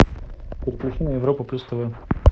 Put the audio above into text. переключи на европу плюс тв